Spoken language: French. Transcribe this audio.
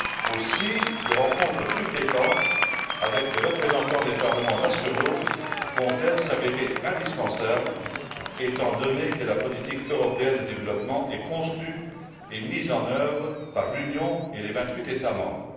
Aussi des rencontres plus fréquentes avec des représentants des parlements nationaux vont elles s'avérer indispensables, étant donné que la politique européenne de développement est conçue et mise en œuvre par l'Union et les vingt huit États membres.